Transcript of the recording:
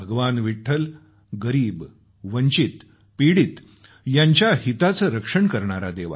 विठ्ठल गरीब वंचित पीडित यांच्या हिताचं रक्षण करणारा देव आहे